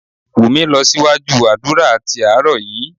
Wunmi lọ síwájú àdúrà tí àárọ̀ yìí